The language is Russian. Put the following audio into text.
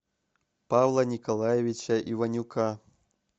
павла николаевича иванюка